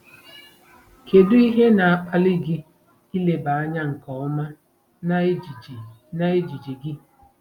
Kedu ihe na-akpali gị ileba anya nke ọma na ejiji na ejiji gị?